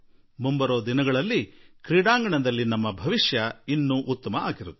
ಮುಂದಿನ ಸಮಯ ನಿಶ್ಚಿತವಾಗಿಯೂ ನಮಗೆ ಒಳ್ಳೆಯದನ್ನು ತರಲಿದೆ